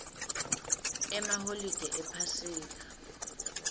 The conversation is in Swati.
emaholide ephasika